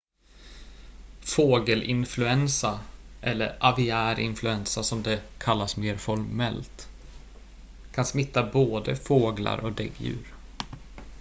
fågelinfluensa eller aviär influensa som det kallas mer formellt kan smitta både fåglar och däggdjur